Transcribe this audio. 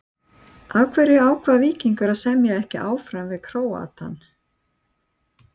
Af hverju ákvað Víkingur að semja ekki áfram við Króatann?